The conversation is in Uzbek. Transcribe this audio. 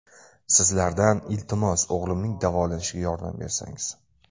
Sizlardan, iltimos, o‘g‘limning davolanishiga yordam bersangiz.